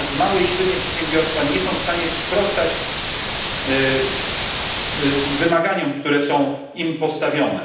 Natomiast małe i średnie przedsiębiorstwa nie są w stanie sprostać wymaganiom, które są im postawione.